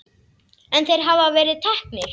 En þeir hafa verið teknir.